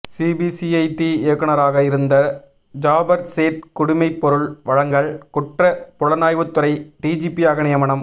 CBCID இயக்குநராக இருந்த ஜாபர் சேட் குடிமைப்பொருள் வழங்கல் குற்ற புலனாய்வுத்துறை டிஜிபியாக நியமனம்